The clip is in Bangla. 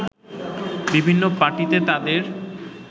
বিভিন্ন পার্টিতে তাদের